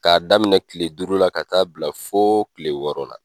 K'a daminɛ kile duuru la, ka taa bila fo kile wɔɔrɔ la.